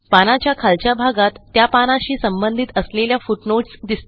पानाच्या खालच्या भागात त्या पानाशी संबंधित असलेल्या फुटनोट्स दिसतील